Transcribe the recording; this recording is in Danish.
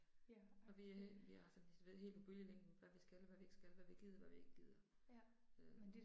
Og vi vi er altså du ved helt på bølgelængde med hvad vi skal og hvad vi ikke skal, hvad vi gider, hvad vi ikke gider. Øh